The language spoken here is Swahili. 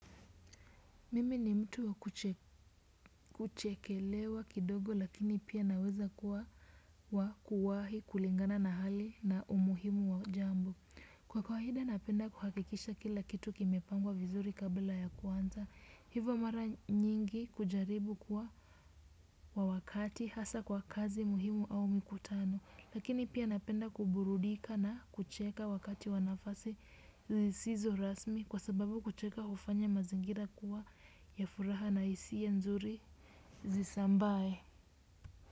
Mimi ni mtu wa kuchekelewa kidogo lakini pia naweza kuwa wa kuwahi kulingana na hali na umuhimu wa jambo. Kwa kawaida napenda kuhakikisha kila kitu kimepangwa vizuri kabla ya kuanza. Hivo mara nyingi kujaribu kuwa wa wakati hasa kwa kazi muhimu au mikutano. Lakini pia napenda kuburudika na kucheka wakati wa nafasi zizizo rasmi kwa sababu kucheka hufanya mazingira kuwa ya furaha na hisia nzuri zisambae.